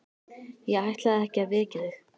Ég ætlaði ekki að vekja þig.